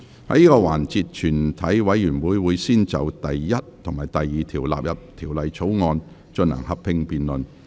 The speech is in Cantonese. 在這個環節，全體委員會會先就第1及2條納入條例草案，進行合併辯論。